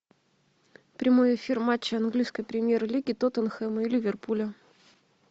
прямой эфир матча английской премьер лиги тоттенхэма и ливерпуля